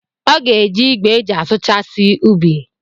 Ọ ga-eji igwe eji asụchasi ubi.